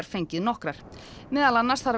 fengið nokkrar meðal annars þarf